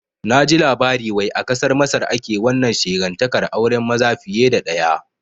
Naji labari wai a kasar Masar ake wannan shegantaƙar auren maza fiye da ɗaya